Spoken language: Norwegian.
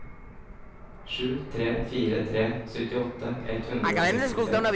sju tre fire tre syttiåtte ett hundre og sekstiseks